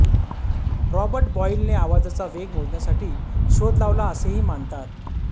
Robert Boyle ने आवाजाचा वेग मोजण्याचा शोध लावला असेही मानतात